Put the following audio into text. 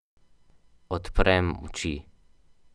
Odprem oči.